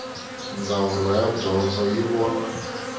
ndzawulo ya dyondzo yi vona